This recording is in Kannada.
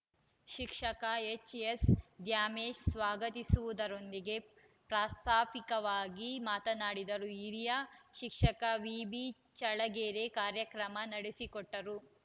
ಶಿಕ್ಷಕ ಎಚ್‌ಎಸ್‌ ದ್ಯಾಮೇಶ್‌ ಸ್ವಾಗತಿಸುವುದರೊಂದಿಗೆ ಪ್ರಾಸ್ತಾವಿಕವಾಗಿ ಮಾತನಾಡಿದರು ಹಿರಿಯ ಶಿಕ್ಷಕ ವಿ ಬಿ ಚಳಗೇರಿ ಕಾರ್ಯಕ್ರಮ ನಡೆಸಿಕೊಟ್ಟರು